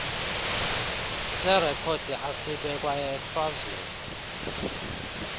serekhodi asibekwa ehlazweni